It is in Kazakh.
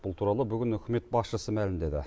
бұл туралы бүгін үкімет басшысы мәлімдеді